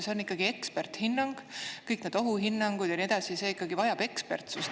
See on ikkagi eksperdihinnang, kõik need ohuhinnangud ja nii edasi, see ikkagi vajab ekspertsust.